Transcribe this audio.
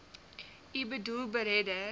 u boedel beredder